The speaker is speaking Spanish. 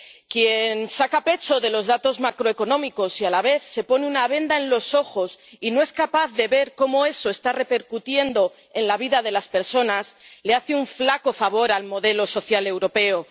Quien saca pecho por los datos macroeconómicos y a la vez se pone una venda en los ojos y no es capaz de ver cómo eso está repercutiendo en la vida de las personas le hace un flaco favor al modelo social europeo.